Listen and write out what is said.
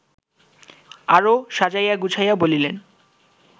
আরও সাজাইয়া-গুছাইয়া বলিলেন